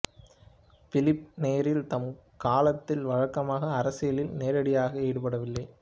பிலிப்பு Neri தம் காலத்தில் வழக்கமாக அரசியலில் நேரடியாக ஈடுபடவில்லை